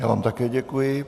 Já vám také děkuji.